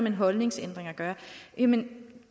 en holdningsændring at gøre jamen